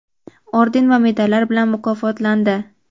orden va medallar bilan mukofotlandi.